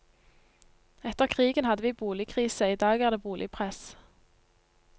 Etter krigen hadde vi boligkrise, i dag er det boligpress.